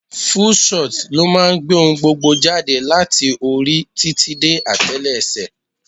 Full shot ló máa ń gbé ohun gbogbo jáde láti orí títí dé atelese.